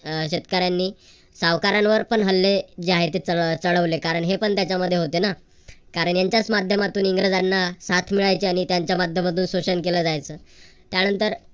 शेतकऱ्यांनी सावकारांवर पण हल्ले जे आहे ते सगळं चढवलं कारण हे पण त्याच्यामध्ये होते ना. कारण यांच्याच माध्यमातून इंग्रजांना साथ मिळायची. आणि यांच्या माध्यमातून शोषण केल जायच. त्यानंतर